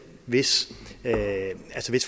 hvis